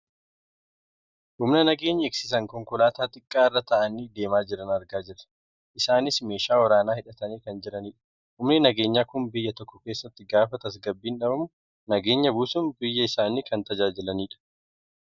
humna nageenya eegsisan konkolaataa xiqqaa irra taa'anii deemaa jiran argaa jirra. isaanis meeshaa waraanaa hidhatanii kan jiranidha. humni nageenyaa kun biyya tokko keessatti gaafa tasgabbiin dhabamu nageenya buusuun biyya isaanii kan tajaajilanidha.